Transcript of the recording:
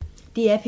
DR P1